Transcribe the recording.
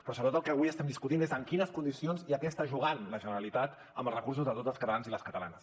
però sobretot el que avui estem discutint és en quines condicions i a què està jugant la generalitat amb els recursos de tots els catalanes i les catalanes